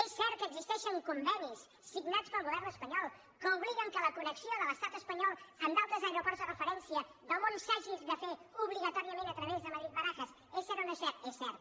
és cert que existeixen convenis signats pel govern espanyol que obliguen que la connexió de l’estat espanyol amb d’altres aeroports de referència del món s’hagi de fer obligatòriament a través de madrid barajas és cert o no és cert és cert